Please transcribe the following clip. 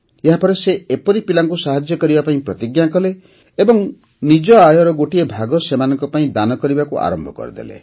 ଏହାପରେ ସେ ଏପରି ପିଲାଙ୍କୁ ସାହାଯ୍ୟ କରିବା ପାଇଁ ପ୍ରତିଜ୍ଞା କଲେ ଓ ନିଜ ଆୟର ଗୋଟିଏ ଭାଗ ସେମାନଙ୍କ ପାଇଁ ଦାନ କରିବାକୁ ଆରମ୍ଭ କରିଦେଲେ